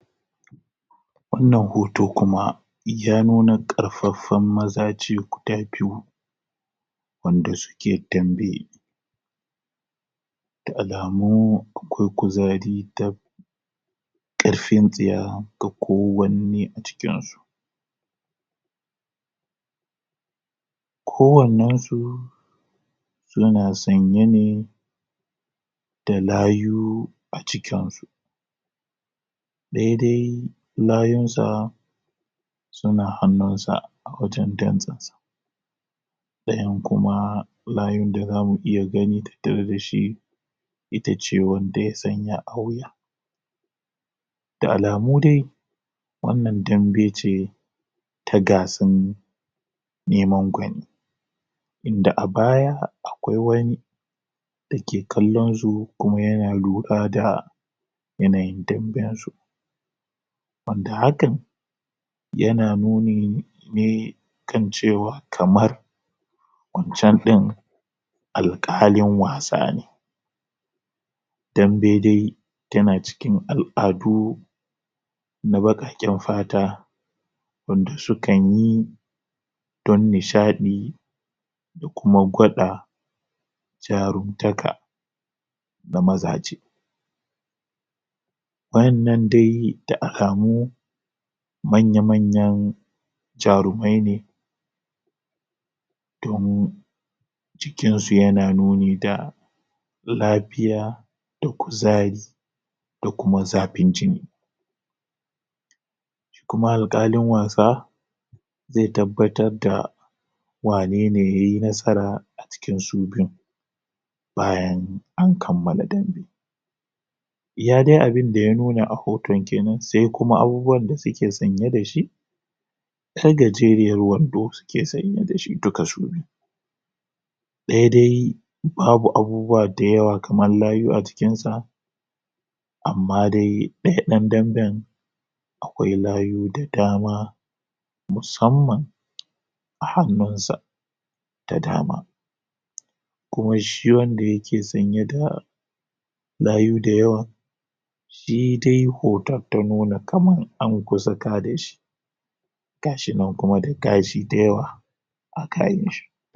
wannan hoto kuma ya nuna ƙarfaffan mazaje guda biyu wanda suke dambe da alamu da akwai kuzari da da ƙarfin tsiya ga kowanne a cikinsu kowannensu suna sanye ne dalayu a cikinsu ɗaya dai layunsa suna hannun sa wajen dantsensa ɗayan kuma layun da zamu iya gani tattare dashi itace wanda ya sanya a wuya da alamudai wannan dambe ce rta gasan neman gwani wanda a baya akwai wani dake kallonsu kuma yana lura da yanayin tafiyansu wanda hakan yana nuni ne kan cewa kamar wancan ɗayan alƙalin wasa ne dambe dai tana cikin al'adu na baƙaƙen fata wanda sukan yi don nishaɗi da kuma gwada jarumtaka ga mazaje waƴannan dai da alamu manya-manyan jarumai ne domin cikinsu yana nuni da lafiya da kuzari da kuma zaɓin jini kuma alaƙalin wasa zai tabbatarda wanene yayi nasara a cikin su biyun bayan an kammala dambe iya dai abinda ya nuna a hoton kenan sai kuma abubuwan da suke sanye dashi ƴar gajeriyar wando suke sanye dashi duka su biyu ɗaya dai babu abubuwa da yawa kamar layu a jikinsa amma dai ɗaya ɗan damben akwai layu da dama musamman a hannunsa da dama kuma shi wanda yake sanye da layu da yawa daidai hoton ya nuna kaman an kusa kadashi gashi nan kuma da gashi da yawa akanshi